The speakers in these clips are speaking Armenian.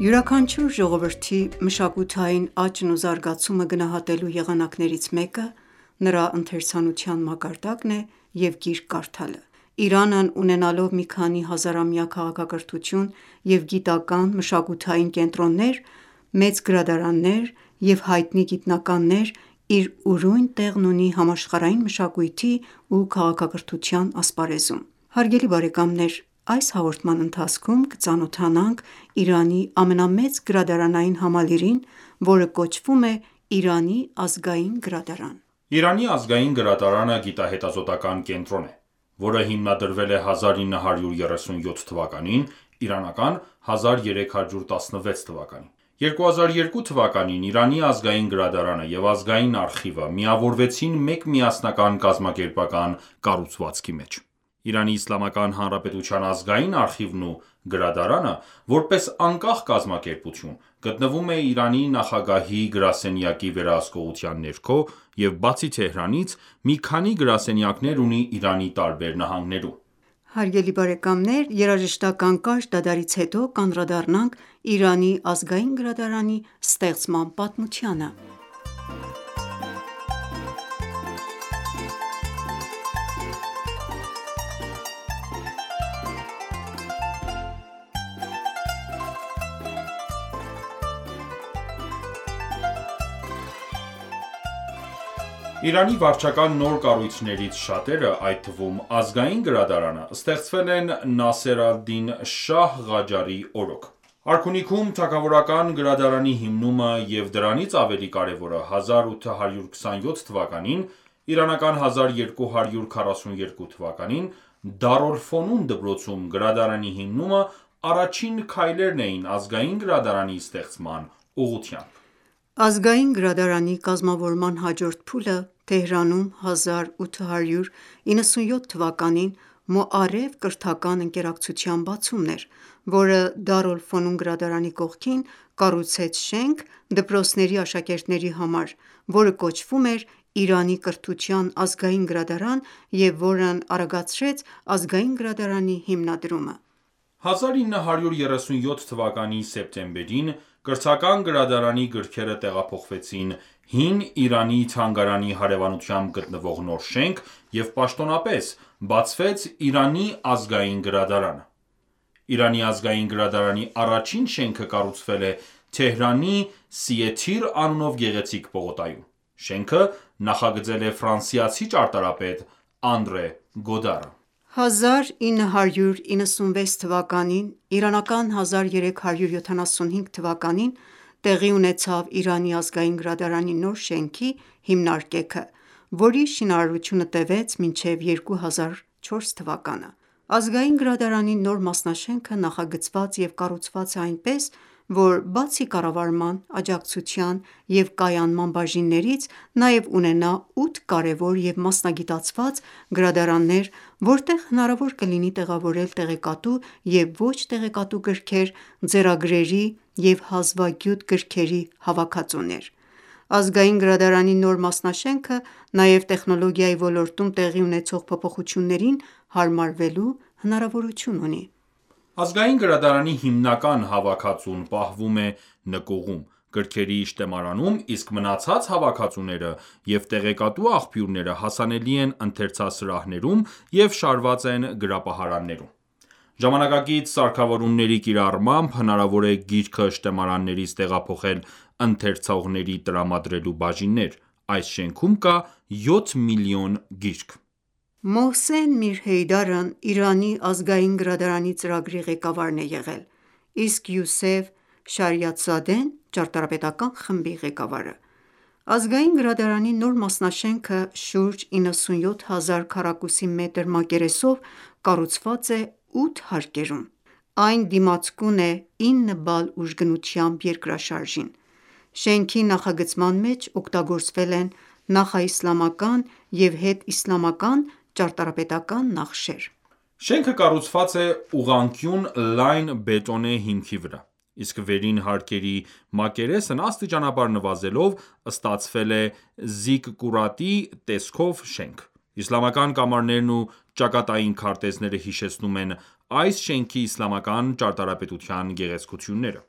Յուրաքանչյուր ժողովրդի մշակութային աճն ու զարգացումը գնահատելու եղանակներից մեկը նրա ընթերցանության մակարդակն է և գիրք կարդալը։ Իրանն ունենալով մի քանի հազարամյա քաղաքակրթություն և գիտական, մշակութային կենտրոններ, մեծ գրադարաններ և հայտնի գիտնականներ, իր ուրույն տեղն ունի համաշխարհային մշակույթի ու քաղաքակրթության ասպարեզում։ Այս հաղորդման ընթացքում կծանոթանանք Իրանի ամենամեծ գրադարանային համալիրրին, որը կոչվում է Իրանի Ազգային գրադարան։ Իրանի Ազգային գրադարանը գիտահետազոտական ​​կենտրոն է, որը հիմնադրվել է 1937 թվականին (իրանական 1316 թ.)։ 2002 թվականին Իրանի Ազգային գրադարանը և Ազգային արխիվը միավորվեցին մեկ միասնական կազմակերպական կառուցվածքի մեջ։ Իրանի Իսլամական Հանրապետության ազգային արխիվն ու գրադարանը, որպես անկախ կազմակերպություն, գտնվում է Իրանի նախագահահի գարսենյակի վերահսկողության ներքո և բացի Թեհրանից, մի քանի գրասենյակներ ունի Իրանի տարբեր նահանգներում։ Երաժշտական կարճ դադարից հետո, կանդրադառնանք Իրանի Ազգային գրադարանի ստեղծման պատմությանը: Իրանի վարչական նոր կառույցներից շատերը, այդ թվում՝ Ազգային գրադարանը ստեղծվել են Նասեր ալ-Դին Շահ Ղաջարի օրոք։ Արքունիքում թագավորական գրադարանի հիմնումը և, դրանից ավելի կարևորը, 1827թ. (իրանական 1242թ.) Դար ալ-Ֆոնուն դպրոցում գրադարանի հիմնումը առաջին քայլերն էին Ազգային գրադարանի ստեղծման ուղղությամբ։ Ազգային գրադարանի կազմավորման հաջորդ փուլը Թեհրանում 1897 թվականին «Մոարեֆ» կրթական ընկերակցության բացումն էր, որը Դար ալ-Ֆոնուն գրադարանի կողքին կառուցեց շենք դպրոցների աշակերտների համար, որը կոչվում էր «Իրանի կրթության ազգային գրադարան», և որն արագացրեց Ազգային գրադարանի հիմնադրումը։ 1937 թվականի սեպտեմբերին Կրթական գրադարանի գրքերը տեղափոխվեցին Հին Իրանի թանգարանի հարեւանությամբ գտնվող նոր շենք, և պաշտոնապես բացվեց «Իրանի ազգային գրադարանը»։ Իրանի ազգային գրադարանի առաջին շենքը կառուցվել է Թեհրանի Սիե թիր անունով գեղեցիկ պողոտայում: Շենքը նախագծել է ֆրանսիացի ճարտարապետ Անդրե Գոդարը: 1996 (1375 թ.) թվականին տեղի ունեցավ Իրանի ազգային գրադարանի նոր շենքի հիմնարկեքը, որի շինարարությունը տևեց մինչև 2004 թվականը։ Ազգային գրադարանի նոր մասնաշենքը նախագծված և կառուցված է այնպես, որ բացի կառավարման, աջակցության և կայանման բաժիններից նաև ունենա 8 կարևոր և մասնագիտացված գրադարաններ, որտեղ հնարավոր կլինի տեղավորել տեղեկատու և ոչ տեղեկատու գրքեր, ձեռագրերի և հազվագյուտ գրքերի հավաքածուներ: Ազգային գրադարանի նոր մասնաշենքը նաև տեխնոլոգիայի ոլորտում տեղի ունեցող փոփոխություններին հարմարվելու հնարավորություն ունի: Ազգային գրադարանի հիմնական հավաքածուն պահվում է նկուղում, գրքերի շտեմարանում, իսկ մնացած հավաքածուները և տեղեկատու աղբյուրները հասանելի են ընթերցասրահներում և շարաված են գրապահարաններում ։ Ժամանակակից սարքավորումների կիրառմամբ հնարավոր է գիրքը շտեմարաններից տեղափոխել ընթերցողներին տրամադրելու բաժիններ։ Այս շենքում կա 7 միլիոն գիրք։ Մոհսեն Միր Հեյդարն Իրանի ազգային գրադարանի ծրագրի ղեկավարն է եղել, իսկ Յուսեֆ Շարիաթզադեն՝ ճարտարապետական ​​խմբի ղեկավարը։ Ազգային գրադարանի նոր մասնաշենքը շուրջ 97 հազար քառակուսի մետր մակերեսով կառուցված է ութ հարկերում: Այն դիմացկուն է 9 բալ ուժգնությամբ երկրաշարժին։ Շենքի նախագծման մեջ օգտագործվել են նախաիսլամական և հետիսլամական ճարտարապետական ​​նախշեր։ Շենքը կառուցված է ուղղանկյուն լայն բետոնե հիմքի վրա, իսկ վերին հարկերի մակերեսն աստիճանաբար նվազելով ստացվել է զիկկուրատի** տեսքով շենք: Իսլամական կամարներն ու ճակատային քարտեզները հիշեցնում են այս շենքի իսլամական ճարտարապետության գեղեցկությունները: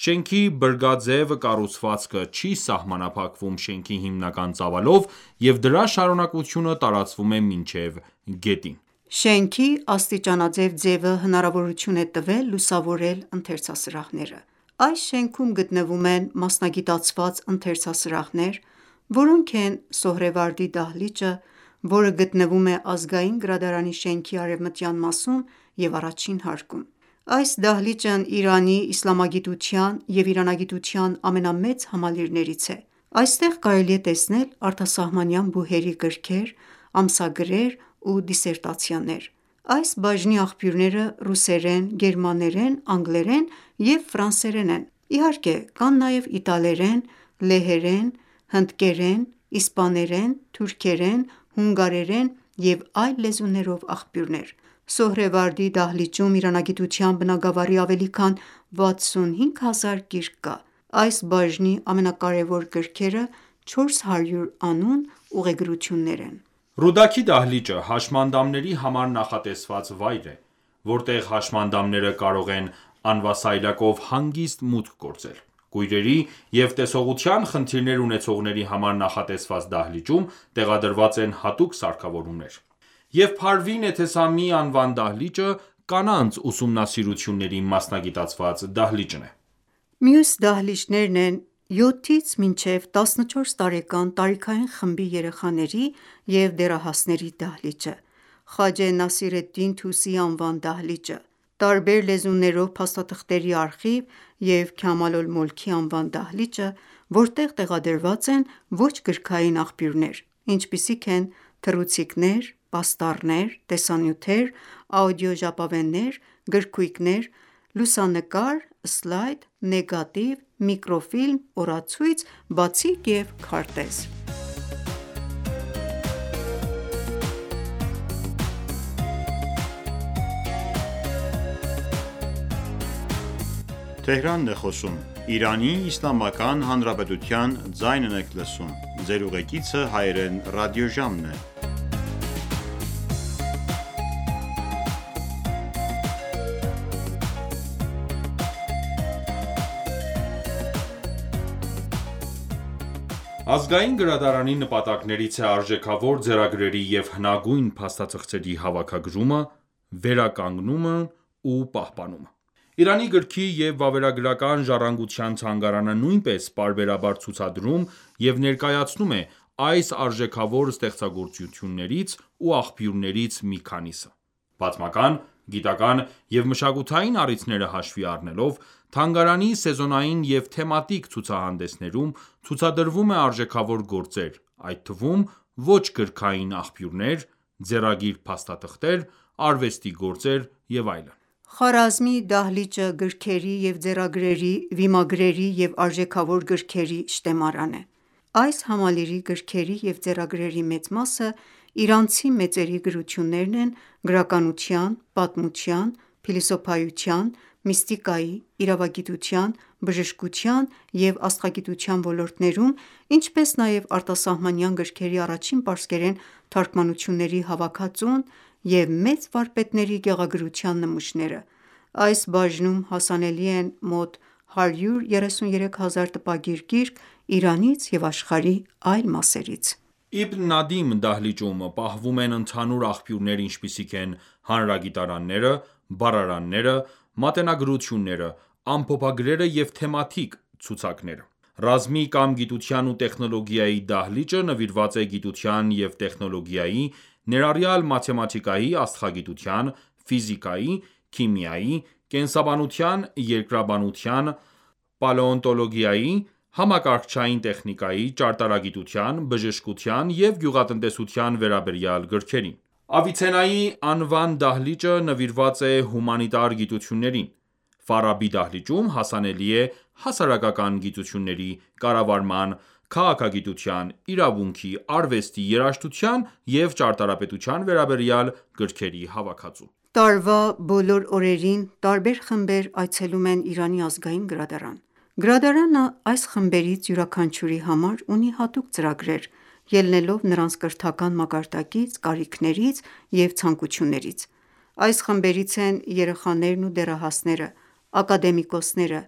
Շենքի բրգաձև կառուցվածքը չի սահմանափակվում շենքի հիմնական ծավալով և դրա շարունակությունը տարածվում է մինչև գետին: Շենքի աստիճանաձև ձևը հնարավորություն է տվել լուսավորել ընթերցասրահները: Այս շենքում գտնվում են մասնագիտացված ընթերցասրահները, որոնք են՝ Սոհրեվարդի դահլիճը, որը գտնվում է Ազգային գրադարանի շենքի արևմտյան մասում և առաջին հարկում ։ Այս դահլիճն Իրանի իսլամագիտության և իրանագիտության ամենամեծ համալիրներից է։ Այստեղ կարելի է տեսնել արտասահմանյան բուհերի գրքեր, ամսագրեր ու դիսերտացիաներ: Այս բաժնի աղբյուրները ռուսերեն, գերմաներեն, անգլերեն և ֆրանսերեն են: Իհարկե կան նաև իտալերեն, լեհերեն, հնդկերեն, իսպաներեն, թուրքերեն, հունգարերեն և այլ լեզուներովաղբյուրներ: Սոհրեվարդի դահլիճում իրանագիտության բնագավառի ավելի քան 65 հազար գիրք կա։ Այս բաժնի ամենակարևոր գրքերը 400 անուն ուղեգրություններն են: «Ռուդաքի» դահլիճը հաշմանդամների համար նախատեսված վայր է, որտեղ հաշմանդամերը կարող են անվասայլակով հանգիստ մուտք գործել։ Կույրերի և տեսողության խնդիրներ ունեցողների համար նախատեսված դահլիճում տեղադրված են հատուկ սարքավորումներ: Եվ Փարվին Էթեսամիի անվան դահլիճը, կանանց ուսումնասիրությունների մասնագիտացված դահլիճն է: Մյուս դահլիճներն են՝ Յոթից մինչև 14 տարեկան տարիքային խմբի երեխաների և դեռահասների դահլիճը, Խաջե Նասիր ալ-Դին Թուսիի անվան դահլիճը, տարբեր լեզուներով փաստաթղթերի արխիվ և Քամալ Ալ-Մոլքի անվան դահլիճը, որտեղ տեղադրված են ոչ-գրքային աղբյուրներ, ինչպիսիք են թռուցիկներ, պաստառներ, տեսանյութեր, աուդիո ժապավեններ, գրքույկներ, լուսանկար, սլայդ, նեգատիվ, միկրոֆիլմ, օրացույց, բացիկ և քարտեզ: Ազգային գրադարանի նպատակներից է արժեքավոր ձեռագրերի և հնագույն փաստաթղթերի հավաքագրումը, վերականգնումն ու պահպանումը։ Իրանի գրքի և վավերագրական ժառանգության թանգարանը նույնպես պարբերաբար ցուցադրում և ներկայացնում է այս արժեքավոր ստեղծագործություններից ու աղբյուրներից մի քանիսը: Պատմական, գիտական ​​և մշակութային առիթները հաշվի առնելով, թանգարանի սեզոնային և թեմատիկ ցուցահանդեսներում ցուցադրվում արժեքավոր գործեր, այդ թվում՝ ոչ գրքային աղբյուրներ, ձեռագիր փաստաթղթեր, արվեստի գործեր և այլն: Խարազմի դահլիճը գրքերի և ձեռագրերի, վիմագրերի և արժեքավոր գրքերի շտեմարան է։ Այս համալիրի գրքերի և ձեռագրերի մեծ մասը իրանցի մեծերի գրություններն են գրականության, պատմության, փիլիսոփայության, միստիկայի, իրավագիտության, բժշկության և աստղագիտության ոլորտներում, ինչպես նաև արտասահմանյան գրքերի առաջին պարսկերեն թարգմանությունների հավաքածուն և մեծ վարպետների գեղագրության նմուշները: Այս բաժնում հասանելի են մոտ 133 հազար տպագիր գիրք Իրանից և աշխարհի այլ մասերից։ Իբն Նադիմ դահլիճում պահվում են ընդհանուր աղբյուրներ ինչպիսիք են հանրագիտարանները, բառարանները, մատենագրությունները, ամփոփագրերը և թեմատիկ ցուցակները: Ռազմի կամ Գիտության ու տեխնոլոգիայի դահլիճը նվիրված է գիտության և տեխնոլոգիայի, ներառյալ մաթեմատիկայի, աստղագիտության, ֆիզիկայի, քիմիայի, կենսաբանության, երկրաբանության, պալեոնտոլոգիայի, համակարգչային տեխնիկայի, ճարտարագիտության, բժշկության և գյուղատնտեսության վերաբերյալ գրքերին: Ավիցեննայի անվան դահլիճը նվիրված է հումանիտար գիտություններին։ Ֆարաբի դահլիճում հասանելի է հասարակական գիտությունների, կառավարման, քաղաքագիտության, իրավունքի, արվեստի, երաժշտության և ճարտարապետության վերաբերյալ գրքերի հավաքածու: Տարվա բոլոր օրերին տարբեր խմբեր այցելում են Իրանի ազգային գրադարան։ Գրադարանը այս խմբերից յուրաքանչյուրի համար ունի հատուկ ծրագրեր՝ ելնելով նրանց կրթական մակարդակից, կարիքներից և ցանկություններից: Այս խմբերից են երեխաներն ու դեռահասները, ակադեմիկոսները,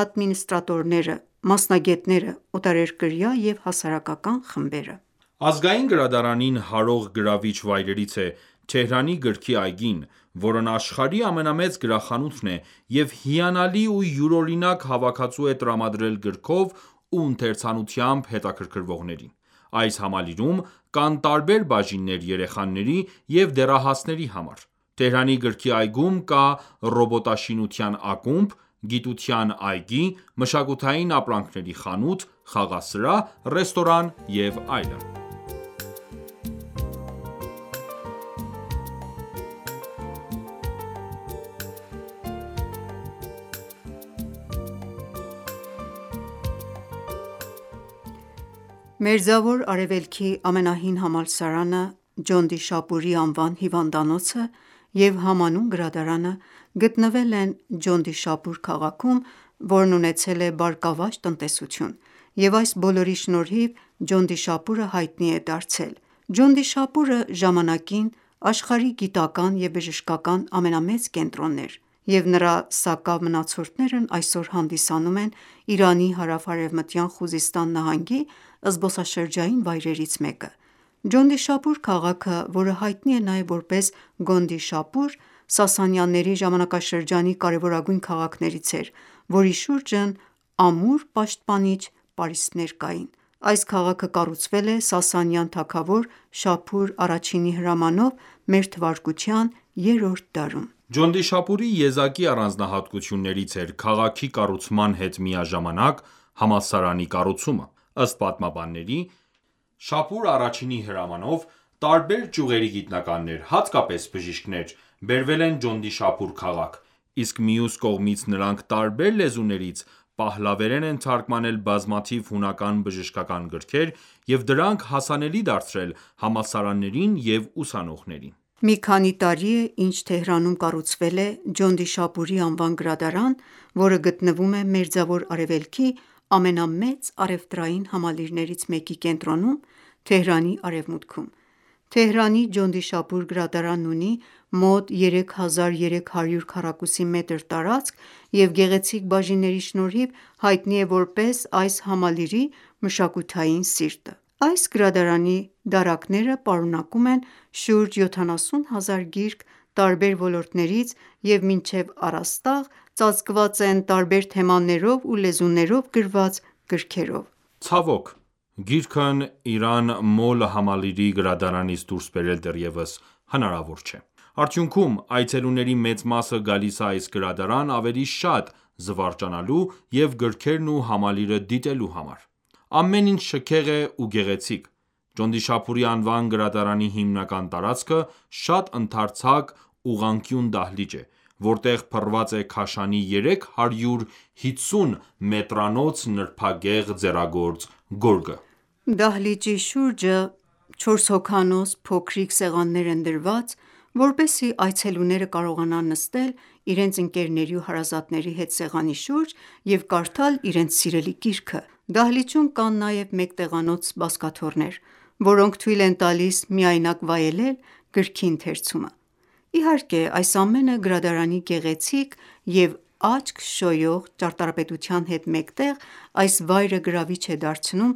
ադմինիստրատորները, մասնագետները, օտարերկրյա և հասարակական խմբերը: Ազգային գրադարանին հարող գրավիչ վայրերից է Թեհրանի գրքի այգին, որն աշխարհի ամենամեծ գրախանութն է և հիանալի ու յուրօրինակ հավաքածու է տրամադրել գրքով ու ընթերցանությամբ հետաքրքրվողներին։ Այս համալիրում կան տարբեր բաժիններ երեխաների և դեռահասների համար: Թեհրանի գրքի այգում կա ռոբոտաշինության ակումբ, գիտության այգի, մշակութային ապրանքների խանութ, խաղասրահ, ռեստորան և այլն: Մերձավոր Արևելքի ամենահին համալսարանը, Ջոնդիշապուրի անվան հիվանդանոցը և համանուն գրադարանը գտնվել են Ջոնդիշապուր քաղաքում, որն ունեցել է բարգավաճ տնտեսություն: Եվ այս բոլորի շնորհիվ Ջոնդիշապուրը հայտնի է դարձել։ Ջունդիշապուրը ժամանակին աշխարհի գիտական ​​և բժշկական ամենամեծ կենտրոնն էր, և նրա սակավ մնացորդներն այսօր հանդիսանում են Իրանի հարավ-արևմտյան Խուզիստան նահանգի զբոսաշրջային վայրերից մեկը: Ջոնդիշապուր քաղաքը, որը հայտնի է նաև որպես Գոնդիշապուր, Սասանյանների ժամանակաշրջանի կարևորագույն քաղաքներից էր, որի շուրջն ամուր պաշտպանիչ պարիսպներ կային։ Այս քաղաքը կառուցվել է Սասանյան թագավոր Շապուր I-ի հրամանով մեր թվարկության երրորդ դարում։ Ջոնդիշապուրի եզակի առանձնահատկություններից էր քաղաքի կառուցման հետ միաժամանակ համալսարանի կառուցումը։ Ըստ պատմաբանների՝ Շապուր I-ի հրամանով տարբեր ճյուղերի գիտնականներ, հատկապես բժիշկներ, բերվել են Ջոնդիշապուր քաղաք, իսկ մյուս կողմից նրանք տարբեր լեզուներից պահլավերեն են թարգմանել բազմաթիվ հունական բժշկական գրքեր և դրանք հասանելի դարձրել համալսարաններին և ուսանողներին։ Մի քանի տարի է, ինչ Թեհրանում կառուցվել է Ջոնդիշապուրի անվան գրադարան, որը գտնվում է Մերձավոր Արևելքի ամենամեծ առևտրային համալիրներից մեկի կենտրոնում՝ Թեհրանի արևմուտքում: Թեհրանի Ջոնդիշապուր գրադարանն ունի մոտ 3300 քառակուսի մետր տարածք և գեղեցիկ բաժինների շնորհիվ, հայտնի է որպես այս համալիրի մշակութային սիրտ։ Այս գրադարանի դարակները պարունակում են շուրջ 70 հազար գիրք տարբեր ոլորտներից և մինչև առաստաղ ծածկված են տարբեր թեմաներով ու լեզուներով գրված գրքերով: Ցավոք, գիրքն Իրան Մոլ համալիրի գրադարանից դուրս բերել դեռևս հնարավոր չէ։ Արդյունքում, այցելուների մեծ մասը գալիս է այս գրադարան ավելի շատ զվարճանալու և գրքերն ու համալիրը դիտելու համար: Ամեն ինչ շքեղ է ու գեղեցիկ։ Ջոնդիշապուրի անվան գրադարանի հիմնական տարածքը շատ ընդարձակ ուղղանկյուն դահլիճ է, որտեղ փռված է Քաշանի 350 մետրանոց նրբագեղ ձեռագործ գորգը։ Դահլիճի շուրջը չորս հոգանոց փոքրիկ սեղաններ են դրված, որպեսզի այցելուները կարողանան նստել իրենց ընկերների ու հարազատների հետ սեղանի շուրջ և կարդալ իրենց սիրելի գիրքը: Դահլիճում կան նաև մեկ տեղանոց բազկաթոռներ, որոնք թույլ են տալիս միայնակ վայելել գրքի ընթերցում: Իհարկե, այս ամենը գրադարանի գեղեցիկ և աչք շոյող ճարտարապետության հետ մեկտեղ այս վայրը գրավիչ է դարձնում